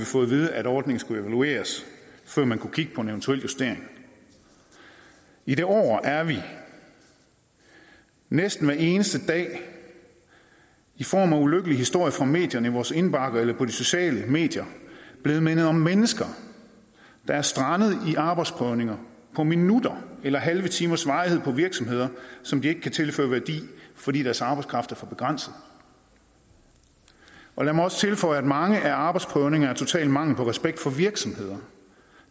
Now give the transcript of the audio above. fået at vide at ordningen skal evalueres før man kan kigge på en eventuel justering i det år er vi næsten hver eneste dag i form af ulykkelige historier fra medierne i vores indbakker eller på de sociale medier blevet mindet om mennesker der er strandet i arbejdsprøvninger på minutters eller halve timers varighed på virksomheder som de ikke kan tilføre værdi fordi deres arbejdskraft er for begrænset lad mig også tilføje at mange arbejdsprøvninger total mangel på respekt for virksomheder